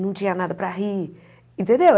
Não tinha nada para rir, entendeu?